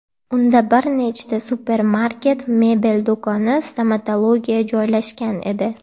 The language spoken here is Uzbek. Unda bir nechta supermarket, mebel do‘koni, stomatologiya joylashgan edi.